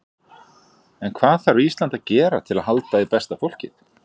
En hvað þarf Ísland að gera til að halda í besta fólkið?